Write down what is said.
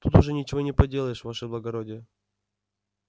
тут уж ничего не поделаешь ваше благородие